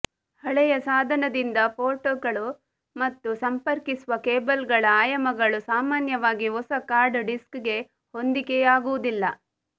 ಹಳೆಯ ಸಾಧನದಿಂದ ಪೋರ್ಟ್ಗಳು ಮತ್ತು ಸಂಪರ್ಕಿಸುವ ಕೇಬಲ್ಗಳ ಆಯಾಮಗಳು ಸಾಮಾನ್ಯವಾಗಿ ಹೊಸ ಹಾರ್ಡ್ ಡಿಸ್ಕ್ಗೆ ಹೊಂದಿಕೆಯಾಗುವುದಿಲ್ಲ